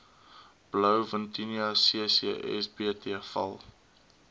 blouvintuna ccsbt val